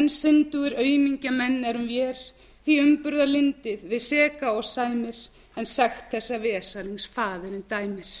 en syndugir aumingja menn erum vér því umburðarlyndið við seka og sæmir en sekt þessa vesalings faðirinn dæmir